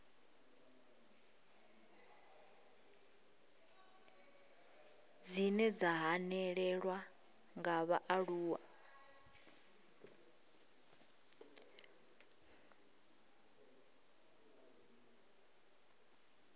dzine dza hanelelwa nga vhaaluwa